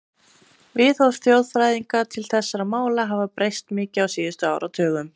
Viðhorf þjóðfræðinga til þessara mála hafa breyst mikið á síðustu áratugum.